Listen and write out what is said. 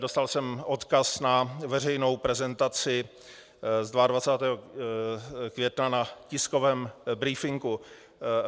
Dostal jsem odkaz na veřejnou prezentaci z 22. května na tiskovém brífinku.